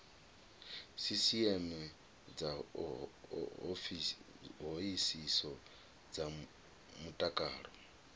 sisieme dza hoisiso dza mutakalo